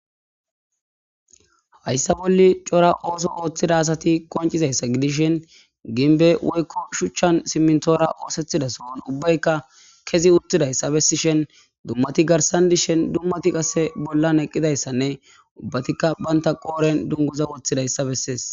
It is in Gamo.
Haysa boli c'ora oso othiza asati qonc'izaysa gidishin gimbe woyko shuchan simintora osetiza sohoni ubayika kezi utidaysa besishen dumati garsan dishes dumati qase bolan eqidaysane ubatika banta qoreni dunguza wotidaysa beses.